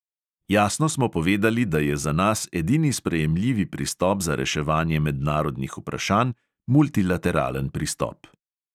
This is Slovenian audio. Jasno smo povedali, da je za nas edini sprejemljivi pristop za reševanje mednarodnih vprašanj multilateralen pristop.